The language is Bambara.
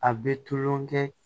A bɛ tulonkɛ